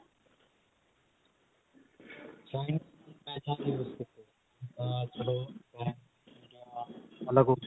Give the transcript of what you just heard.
china ਦੇ ਮੈਂ ਤਾਂ ਨੀ use ਕਿਤੇ ਅਮ ਚਲੋ ਆਲੱਗ ਹੋਗੇ